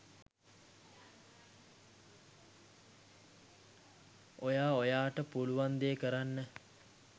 ඔයා ඔයාට පුළුවන් දේ කරන්න